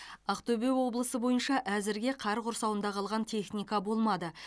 ақтөбе облысы бойынша әзірге қар құрсауында қалған техника болмады